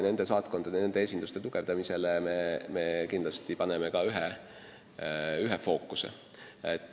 Nende saatkondade, nende esinduste tugevdamine on kindlasti ühes fookuses.